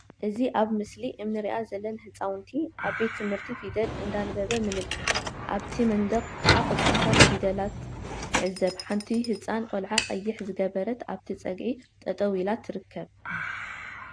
እዚ ኣብ ምስሊ እምሪኣ ዘለን ህጻውንቲ ኣብ ቤት ትምህርቲ ፊደል እንዳንበበ ንምልከት ኣብቲ መንደቅ ክዓ ቁጽርታት ፊደላት ንዕዘብ ሓንቲ ሕጻን ቆልዓ ቀይሕ ዝገበረት ኣብቲ ጸግዒ ጠጠው ኢላ ትርከብ።